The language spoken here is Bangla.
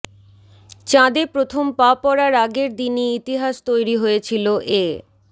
চাঁদে প্রথম পা পড়ার আগের দিনই ইতিহাস তৈরি হয়েছিল এ